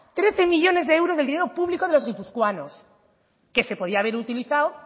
trece millónes de euros del dinero público de los guipuzcoanos que se podía haber utilizado